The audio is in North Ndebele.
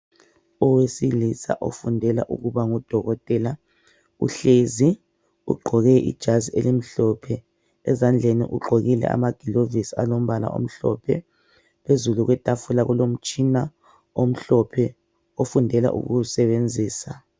Owesilisa ofundela ukuba ngudokotela uhlezi ugqoke ijazi elimhlophe. Ezandleni ugqokile amagilovisi alombala omhlophe. Phezulu kwetafula kulomtshina omhlophe ofundela ukuwusebenzisa.